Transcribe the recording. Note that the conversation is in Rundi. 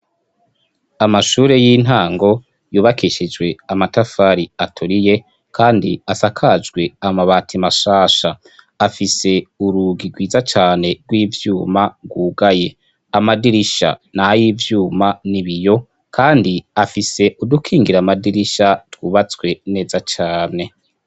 Amashure y'intango yubakishijwe amatafari aturiye Kandi asakajwe amabati mashasha afise urugi rwiza cane rw'ivyuma rwugaye, amadirisha n'ay'ivyuma n'ibiyo kandi afise udukingira amadirisha twubatswe neza cane.